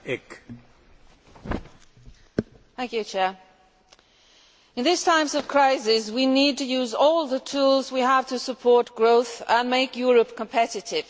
Mr President, in these times of crisis we need to use all the tools we have to support growth and make Europe competitive.